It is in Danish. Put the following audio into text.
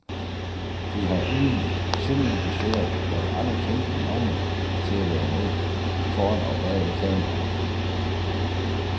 De har uden synderligt besvær lokket andre kendte navne til at være med, foran og bagved kameraet.